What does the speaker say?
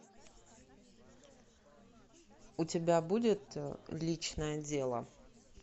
у тебя будет личное дело